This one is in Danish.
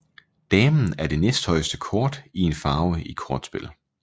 Damen er det næsthøjeste kort i en farve i kortspil